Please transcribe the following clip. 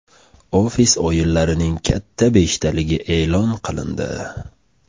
Ofis o‘yinlarining katta beshtaligi e’lon qilindi.